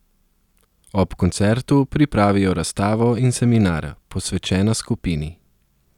Ob koncertu pripravijo razstavo in seminar, posvečena skupini.